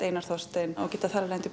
Einar Þorstein og geta þannig